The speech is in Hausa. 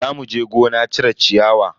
Za muje gona cire ciyawa.